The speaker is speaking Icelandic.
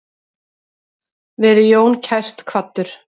Veri Jón kært kvaddur.